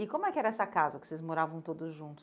E como é que era essa casa que vocês moravam todos juntos?